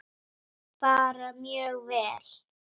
Bara mjög vel.